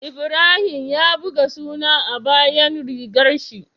Ibrahim ya buga suna a bayan rigar shi